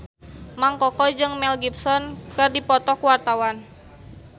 Mang Koko jeung Mel Gibson keur dipoto ku wartawan